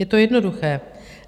Je to jednoduché.